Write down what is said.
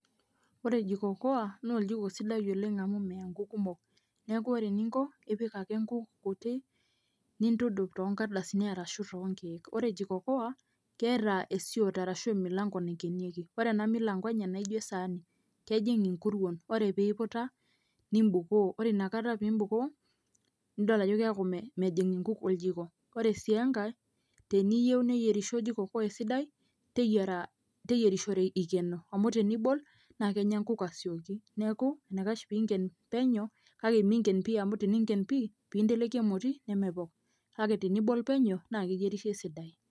Ore jiko koa naa oljiko sidai oleng' amu meya nkuuk kumok, neeku ore eninko ipik ake nkuuk kutik nintudup too nkardasini arashu too nkeek. Ore jiko koa, keeta eisoto arashu emilang'o naikenieki, ore ena milang'o enye naijo esaani kejing' inkuruon. Ore piiputa nimbukoo, ore inakata piimbukoo nidol ajo keeku me mejing' nkuuk oljiko, ore sii enkae teniyeu neyerisho jiko koa esidai teyiara teyerishore ikeno amu tenibol naake enya nkuuk asioki. Neeku eniakash piing'en penyo kake miing'en pii amu teniing'en pii ninteleki emoti nemepok kake tenibol penyo naake eyierisho esidai.